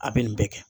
A bɛ nin bɛɛ kɛ